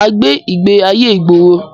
Mà á gbé ìgbé ayé ìgboro.